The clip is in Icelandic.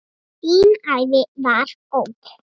Þín ævi var góð.